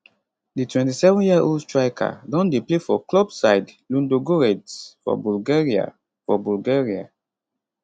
di 27 yearold striker don dey play for club side ludogoretz for bulgaria for bulgaria